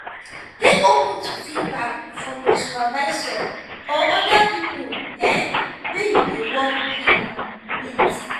dey open to feedback from your supervisor or oda pipo um wey you dey work um with